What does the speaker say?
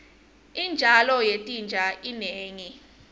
intalo yetinja inengi